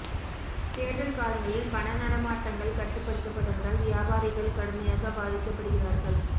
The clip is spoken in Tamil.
தேர்தல் காலங்களில் பண நடமாட்டங்கள் கட்டுப் படுத்தப்படுவதால் வியாபாரிகள் கடுமையாகப் பாதிக்கப் படுகிறார்கள்